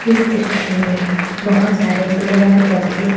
इस दृश्य में बहुत सारे पेड़ और पौधे --